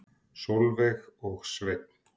Sólveig og Sveinn.